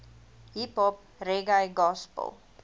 hiphop reggae gospel